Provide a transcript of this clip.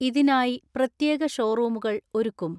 ഇതിനായി പ്രത്യേക ഷോറൂമുകൾ ഒരുക്കും.